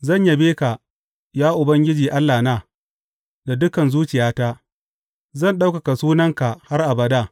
Zan yabe ka, ya Ubangiji Allahna, da dukan zuciyata; zan ɗaukaka sunanka har abada.